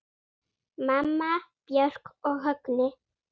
Mamma, Björk og Högni.